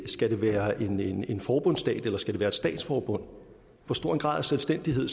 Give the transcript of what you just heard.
skal være en forbundsstat eller det skal være et statsforbund hvor stor en grad af selvstændighed